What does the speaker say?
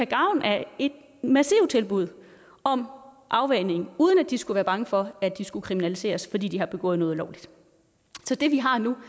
gavn af et massivt tilbud om afvænning uden at de skulle være bange for at de skulle kriminaliseres fordi de har begået noget ulovligt så det vi har nu